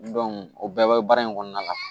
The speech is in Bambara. o bɛɛ bɛ baara in kɔnɔna la